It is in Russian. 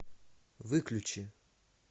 выключи